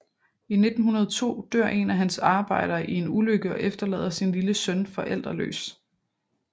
I 1902 dør en af hans arbejdere i en ulykke og efterlader sin lille søn forældreløs